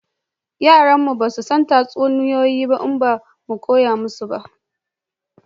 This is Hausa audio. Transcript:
Yaran mu ba za su san tatsuniyoyi ba in ba mu koya musu ba